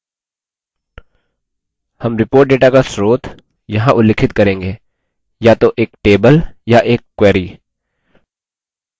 हम report data का स्रोत यहाँ उल्लिखित करेंगे: या तो एक table या एक query